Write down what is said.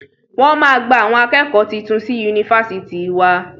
Wọ́n máa gba àwọn akẹ́kọ̀ọ́ titun sí Yunifásitì wa.